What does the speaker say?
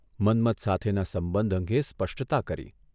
મન્મથ સાથેના સંબંધ અંગે સ્પષ્ટતા કરી.